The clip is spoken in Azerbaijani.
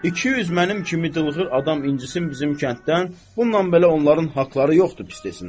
İki yüz mənim kimi dılğır adam incisin bizim kənddən, bununla belə onların haqları yoxdur pis desinlər.